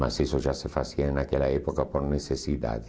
Mas isso já se fazia naquela época por necessidade.